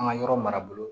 An ka yɔrɔ mara bolo